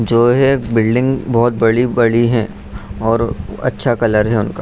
जो है एक बिल्डिंग बहोत बड़ी-बड़ी हैं और अच्छा कलर है उनका।